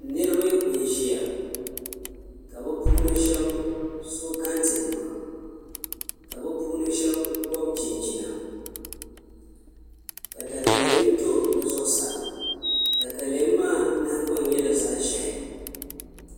Niraba n ʒiya ka bi puuni shab so kɛntɛ nima ka bi puuni shab gobi chinchina ka katalɛm to bi zuɣusaa katalɛm maa nahangbaŋ nyɛla zaɣ ʒiɛhi